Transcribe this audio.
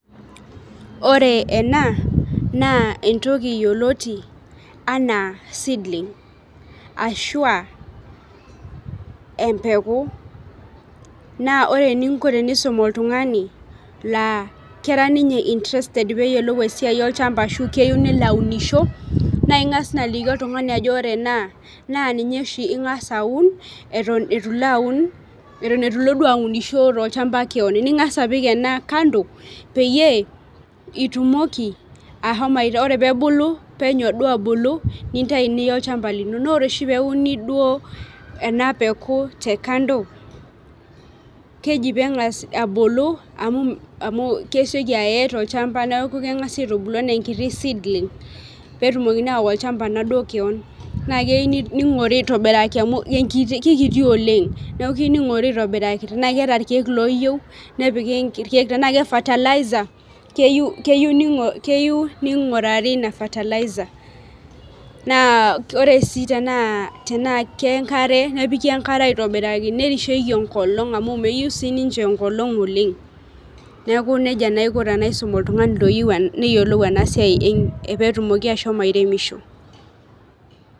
Ore ena naa entoki yioloti aanaa seedling Ashua empeku, naa ore eninko tenisum oltungani naa kera ninye interested esiai olchampa ashu keyieu nelo aaku aunisho, naa ingas naa aliki oltungani ajo ore ena, naa ninye oshi ingas aun, eitu ilo aun, aunisho tolchampa keon, ningas apik ena kanso peyie etumoki ashomo, ore pee ebulu penyo duo abulu, nintayu niya olchampa, lino naa ore duo oshi peeku, euni duo ena peeku te kamdo, keji peengas abulu, amu kesioki aye tolchampa neeku keng'asi aitubulu anaa enkiti seedling peetumokini ashomo awa. Olchampa naaduo keon naa keyieu ningor aitobiraki amu kikiti oleng, neeku keyieu ningori irkeek , nepiki kulo, kake fertilizer keyieu ningurari Ina fertilizer kake tenaa enkare, nepiki enkare, aitobiraki nerisheki enkolong' Oleng, neeku nejia naa aiko